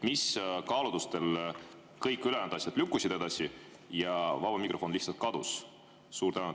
Mis kaalutlustel kõik ülejäänud asjad lükkusid edasi, aga vaba mikrofon lihtsalt kadus?